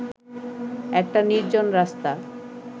একটা নির্জন রাস্তা